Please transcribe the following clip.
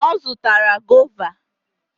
Ọ zụtaara goova.